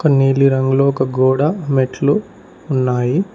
నీలిరంగులో ఒక గోడ మెట్లు ఉన్నాయి.